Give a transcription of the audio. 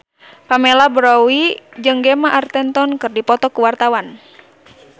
Pamela Bowie jeung Gemma Arterton keur dipoto ku wartawan